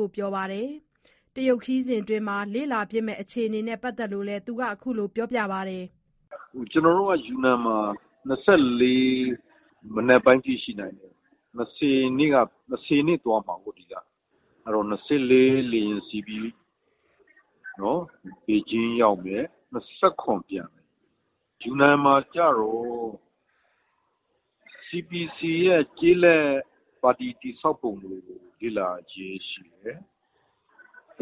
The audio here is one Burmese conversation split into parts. ကို ပြောပါတယ်။ ခရီးစဉ်အတွင်းလေ့လာဖြစ်မယ့် အခြေအနေနဲ့ပတ်သတ်လို့ သူက အခုလို ပြောကြားခဲ့ပါတယ်။ "ကျနော်တို့က ယူနန်မှာ ၂၄မနက်ပိုင်းထိရှိနေမယ်။ ဒီကနေ ၂၀ရက်နေ့သွားမယ်။ ၂၄ မှာလေယာဉ်စီးပြီး ဘေဂျင်းရောက်မယ် ၊၂၇ ပြန်လာမယ်။ ယူနန်မှာကျတော့ တရုတ်ကွန်မြူ နစ်ပါတီ ကျေးလက်ပါတီတည်ဆောက်ပုံကို လေ့လာမယ်။ သူ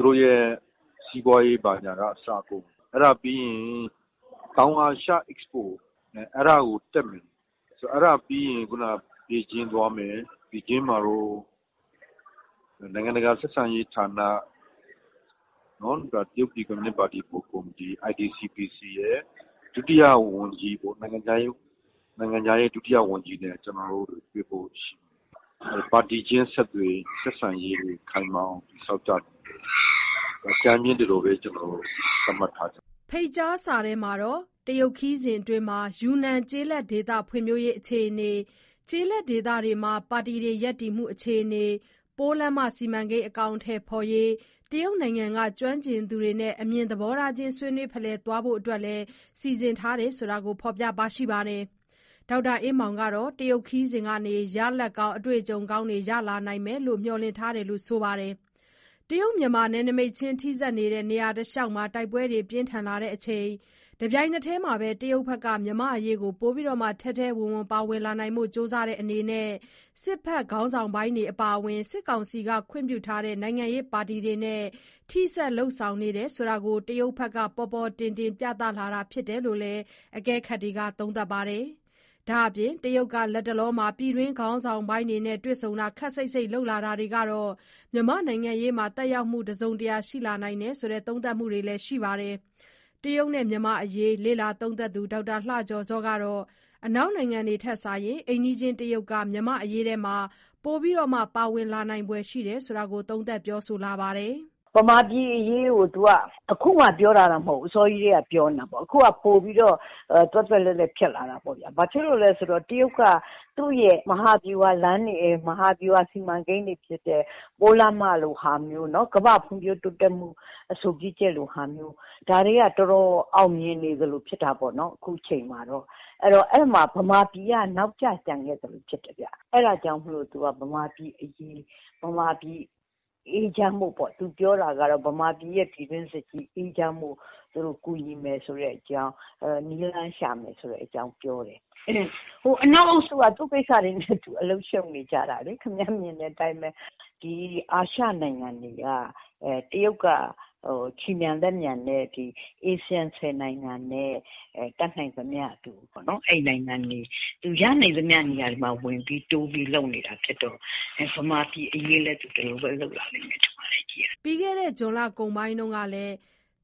တို့ပါတီစီးပွားရေးဘာညာကအစပေါ့။ ပြီးရင် တောင်အာရှပြပွဲတက်မယ်။ အဲကနေ ဘေဂျင်းသွားမယ်။ ဘေဂျင်းမှာတော့ နိုင်ငံတကာဆက်ဆံရေးဌာန တရုတ်ကွန်မြူနစ်ပါတီက နိုင်ငံခြားရေးဒုဝန်ကြီးနဲ့တွေ့မယ်။ ပါတီချင်းဆက်ဆံရေး တိုးမြင့်ဖို့အကြမ်းဖျင်းဒီလိုဘဲ သတ်မှတ်ထားပါတယ်။" ဖိတ်ကြားစာမှာတော့ ခရီးစဉ်အတွင်းမှာ ယူနန် ကျေးလက်ဒေသဖွံ့ဖြိုးရေး အခြေအနေ၊ ကျေးလက်ဒေသတွေမှာ ပါတီရပ်တည်မှု အခြေအနေ၊ ပိုးလမ်းမ စီမံကိန်း အကောင်အထည်ဖော်ရေး တရုတ်နိုင်ငံက ကျွမ်းကျင်သူတွေနဲ့ အမြင်သဘောချင်း ဆွေးနွေးဖလှယ်သွားဖို့အတွက် စီစဉ်ထားတယ်လို့ ဖော်ပြထား ပါတယ်။ ဒေါက်တာ အေးမောင်ကတော့ တရုတ်ခရီးစဥ်ကနေ ရလဒ်ကောင်း အတွေ့အကြုံကောင်းတွေ ရလာနိုင်မယ်လို့ မျှော်လင့်ထားတယ်လို့ဆိုပါတယ်။ တရုတ်-မြန်မာ နယ်နမိတ်ချင်းထိစပ်နေတဲ့ နေရာတလျှောက်မှာ တိုက်ပွဲတွေ ပြင်းထန်လာနေချိန်နဲ့ တပြိုင်နက်တည်းမှာဘဲ တရုတ်ဘက်က မြန်မာအရေးကို ပိုပြီး ထဲထဲဝင်ဝင် ပါဝင်လာနိုင်ဖို့ ကြိုးစားတဲ့အနေနဲ့ စစ်ဘက်ခေါင်းဆောင်ပိုင်းအပါအ၀င် စစ်ကောင်စီက ခွင့်ပြုထားတဲ့ နိုင်ငံရေးပါတီတွေနဲ့ ထိစပ် လုပ်ဆောင်နေတယ်ဆိုတာကို တရုတ်က ပေါ်ပေါ်တင်တင် ပြသလာတာ ဖြစ်တယ်လို့ အကဲခတ်တွေက ပြောပါတယ်။ ဒါ့အပြင် တရုတ်က လတ်တလောမှာ ပြည်တွင်းခေါင်းဆောင်ပိုင်းတွေနဲ့ တွေ့ဆုံတာ ခပ်စိတ်စိတ်လုပ်လာတာတွေက မြန်မာနိုင်ငံရေးမှ သက်ရောက်မှု တစုံတရာရှိလာနိုင်တယ်လို့ သုံးသပ်ချက်တွေရှိနေပါတယ်။ တရုတ်နဲ့မြန်မာ့အရေးလေ့လာသုံးသပ်သူ ဒေါက်တာလှကျော်ဇောကတော့ အနောက်နိုင်ငံတွေထက်စာရင် အိမ်နီးချင်းတရုတ်က မြန်မာ့အရေးတွေ ပိုဝင်ပါလာနိုင်ဖွယ်ရှိနေတယ်လို့ သုံးသပ်ပြောဆိုလာပါတယ်။ "ဗမာပြည်အရေးကိုအခုမှပြောလာတာတော့မဟုတ်ဘူး အစောထဲကပြောတာခုကပိုပြီးတော့ သွက်သွက်လက်လက်ဖြစ်လာတာပေါ့ ဘာလို့ဆို တရုတ်က သူ့မဟာဗျူဟာလမ်းတွေ မဟာဗျူဟာစီမံကိန်းတွေဖြစ်တဲ့ ပိုးလမ်းမလိုဟာမျိုး ကမ္ဘာ့ဖွံ့ဖြိုးတိုးတက်မှုအဆိုပြုချက်လိုဟာမျိုး ဒါတွေကအောင်မြင်နေသလိုဖြစ်တာပေါ့ အဲ့ဒီမှာ ဗမာပြည်ကနောက်ကျကျန်ခဲ့သလိုဖြစ်တယ်။ အဲဒါကြောင့်ဗမာပြည်အရေး ဗမာပြည်အေးချမ်းဖို့ကို သူပြောတာ ကတော့ဗမာပြည်ပြည်တွင်းစစ်အေးချမ်းဖို့ကူညီမယ်ပေါ့ နည်းရှာမယ်ပေါ့ အနောက်အုပ်စုကတော့ သူ့ကိစ္စနဲ့သူရှုပ်နေတာလေ။ တရုတ်ကတော့ အာရှနိုင်ငံတွေ မှာ ခြေမြန်လက်မြန်နဲ့ အာရှ ၁၀နိုင်ငံနဲ့တတ်နိုင်သမျှ ရနိုင်သမျှမှာ ဝင်ပြီးတိုးပြီးလုပ်နေတဲ့သဘောပေါ့ ဗမာပြည်အရေးလဲ ပိုပြီးတိုးလုပ်လာလိမ့်မယ်ထင်တယ်။" ပြီးခဲ့တဲ့ ဇွန်လကုန်ပိုင်းကလည်း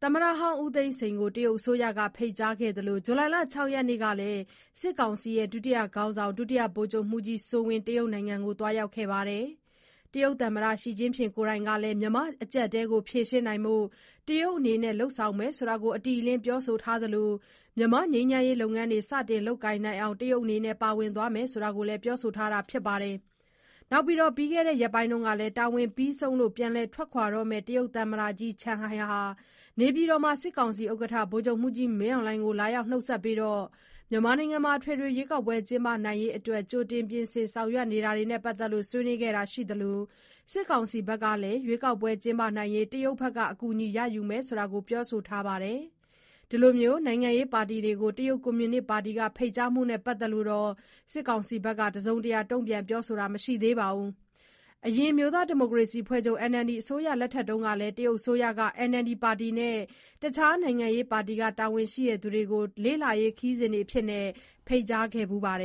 သမ္မတဟောင်း ဦးသိန်းစိန်ကို တရုတ်အစိုးရက ဖိတ်ကြားခဲ့သလို ဇူလိုင် ၆ ရက်နေ့ကလည်း စစ်ကောင်စီ ဒုတိယခေါင်းဆောင် ဒုတိယဗိုလ်ချုပ်မှူးကြီး စိုးဝင်းဟာ တရုတ်နိုင်ငံကို သွားရောက်ခဲ့ပါတယ်။ တရုတ်သမ္မတ ရှီကျင့်ဖျင့်ကိုယ်တိုင်ကလည်း မြန်မာ့ အကျပ်အတည်းကို ဖြေရှင်းဖို့ တရုတ်အနေနဲ့ လုပ်ဆောင်မယ်လို့ အတိအလင်း ပြောဆိုခဲ့သလို မြန်မာ့ငြိမ်းချမ်းရေးလုပ်ငန်းတွေ စတင်လုပ်ကိုင်နိုင်အောင် တရုတ် ပါဝင်သွားမယ်လို့ ပြောဆိုထားတာပါ။ နောက်ပြီး ပြီးခဲ့တဲ့ ရက်ပိုင်းကလည်း တာဝန်ပြီးဆုံးလို့ပြန်လည်ထွက်ခွာတော့မယ့် တရုတ်သံအမတ်ကြီး ချန်ဟိုင်ဟာ နေပြည်တော်မှာ စစ်ကောင်စီဥက္ကဋ္ဌ ဗိုလ်ချုပ်မှူးကြီး မင်းအောင်လှိုင်ကို လာနှုတ်ဆက်ပြီး အထွေထွေရွေးကောက်ပွဲ ကျင်းပနိုင်ဖို့အတွက် ကြိုတင် ပြင်ဆင်ဆောင်ရွက်နေတာတွေကို ဆွေးနွေးခဲ့တာရှိသလို စစ်ကောင်စီဘက်ကလည်း ရွေးကောက်ပွဲလုပ်နိုင်ရေး တရုတ်အကူအညီ ရယူမယ်လို့ ပြောဆိုထားပါတယ်။ နိုင်ငံရေးပါတီတွေကို တရုတ်ကွန်မြူနစ်ပါတီက ဖိတ်ကြားမှုနဲ့ပတ်သက်လို့ စစ်ကောင်စီဘက်က တုန့်ပြန် ပြောဆိုတာ မရှိသေးပါဘူး။ အရင် NLD အစိုးရလက်ထက်ကလည်း တရုတ်အစိုးရက NLD ပါတီနဲ့ တခြား နိုင်ငံရေးပါတီက တာဝန်ရှိသူတွေကို လေ့လာရေးခရီးစဉ်အဖြစ်နဲ့ ဖိတ်ကြားခဲ့ဘူးပါတယ်